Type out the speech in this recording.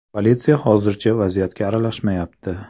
Politsiya hozircha vaziyatga aralashmayapti.